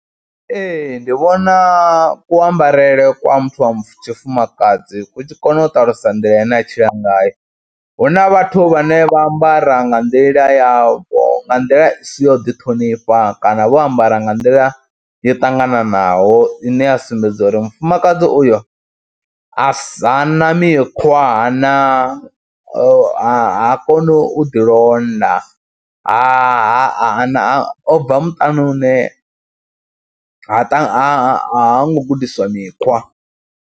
Ee ndi vhona kuambarele kwa muthu wa tshifumakadzi ku tshi kona u ṱalusa nḓila ine a tshila ngayo hu na vhathu vhane vha ambara nga nḓila yavho, nga nḓila i si yo ḓiṱhonifha kana vho ambara nga nḓila yo ṱangananaho ine ya sumbedza uri mufumakadzi uyo a sa, ha na mikhwa ha na, ha koni u ḓilonda ha ha o bva muṱani une ha ha ha ngo gudiswa mikhwa.